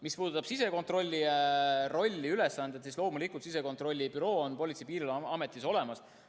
Mis puudutab sisekontrolli rolli ja ülesanded, siis loomulikult on sisekontrollibüroo Politsei‑ ja Piirivalveametis olemas.